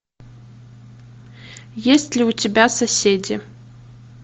есть ли у тебя соседи